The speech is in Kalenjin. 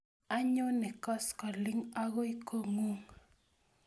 Anyone koskoling' akoi kong'ung'